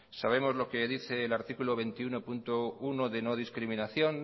sabemos lo que dice el artículo veintiuno punto uno de no discriminación